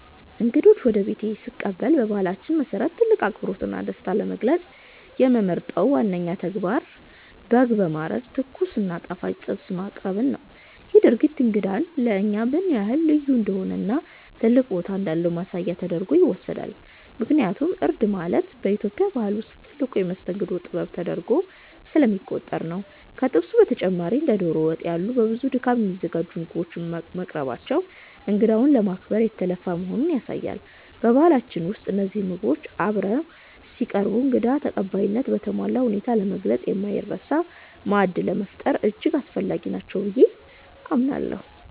እንግዶችን ወደ ቤቴ ስቀበል በባህላችን መሰረት ትልቅ አክብሮትና ደስታን ለመግለጽ የምመርጠው ዋነኛው ተግባር በግ በማረድ ትኩስ እና ጣፋጭ ጥብስ ማቅረብን ነው። ይህ ድርጊት እንግዳው ለእኛ ምን ያህል ልዩ እንደሆነና ትልቅ ቦታ እንዳለው ማሳያ ተደርጎ ይወሰዳል፤ ምክንያቱም እርድ ማረድ በኢትዮጵያ ባህል ውስጥ ትልቁ የመስተንግዶ ጥበብ ተደርጎ ስለሚቆጠር ነው። ከጥብሱ በተጨማሪ እንደ ዶሮ ወጥ ያሉ በብዙ ድካም የሚዘጋጁ ምግቦች መቅረባቸው እንግዳውን ለማክበር የተለፋ መሆኑን ያሳያሉ። በባህላችን ውስጥ እነዚህ ምግቦች አብረው ሲቀርቡ እንግዳ ተቀባይነትን በተሟላ ሁኔታ ለመግለጽና የማይረሳ ማዕድ ለመፍጠር እጅግ አስፈላጊ ናቸው ብዬ አምናለሁ።